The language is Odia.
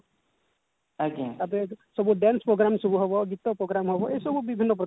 ତାପରେ ସବୁ dance program ସବୁ ହବ ଗୀତ program ହବ ଏସବୁ ବିଭିନ୍ନ ପ୍ରକାର ହୁଏ